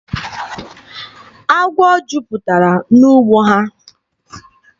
Agwọ jupụtara n'ugbo ha.